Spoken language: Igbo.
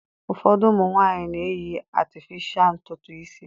Ụfọdụ ụmụ nwaanyị na-eyi atịfịsha ntutu isi.